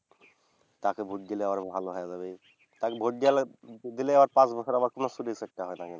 তাকে ভোট দিলে আবার ভালো হয়া যাবে। আর ভোট গেলে, দিলে আবার পাঁচ বছর চুরি চুট্টা হবেনা কিন্তু।